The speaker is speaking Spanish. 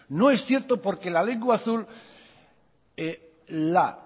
no es cierto porque la lengua azul la